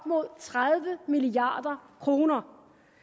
mod tredive milliard kroner